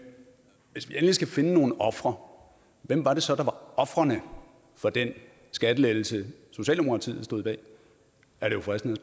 skal finde nogle ofre hvem var det så der var ofrene for den skattelettelse socialdemokratiet stod bag er det jo fristende